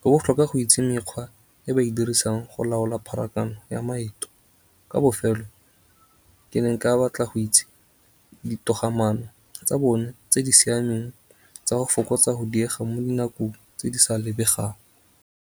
Go botlhokwa go itse mekgwa e ba e dirisang go laola pharakano ya maeto. Ka bofelo ke ne nka batla go itse ditogamaano tsa bone tse di siameng tsa go fokotsa go diega mo dinako tse di sa lebegang.